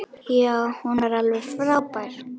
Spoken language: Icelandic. Já, hún var alveg frábær!